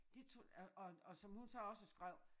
Det tror og og og som hun så også skrev